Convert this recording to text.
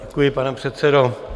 Děkuji, pane předsedo.